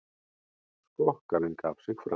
Skokkarinn gaf sig fram